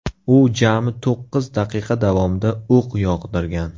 U jami to‘qqiz daqiqa davomida o‘q yog‘dirgan.